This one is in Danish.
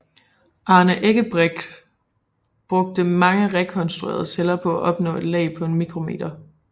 Arne Eggebrecht brugte mange rekonstruerede celler for at opnå et lag på en mikrometer